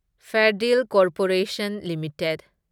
ꯐꯦꯔꯗꯤꯜ corporation limited